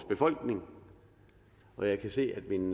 befolkning og jeg kan se at min